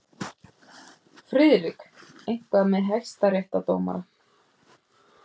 FRIÐRIK: Eitthvað með hæstaréttardómara.